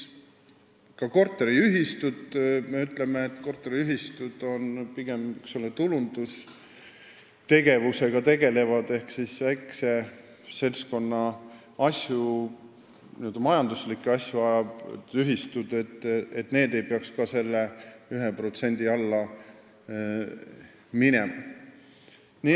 Me ütleme, et ka korteriühistud, kes tegelevad pigem tulundustegevusega ehk ajavad väikse seltskonna majanduslikke asju, ei peaks selle 1% seaduse alla minema.